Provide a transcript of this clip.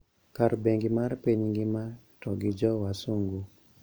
Kaka bengi mar piny ngima to gi jo Wasungu